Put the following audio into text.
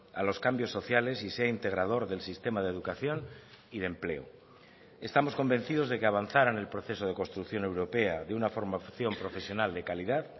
a los cambios sociales y sea integrador del sistema de educación y de empleo estamos convencidos de que avanzar en el proceso de construcción europea de una formación profesional de calidad